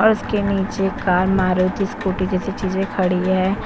और उसके नीचे कार मारुति स्कूटी जैसी चीजे खड़ी है।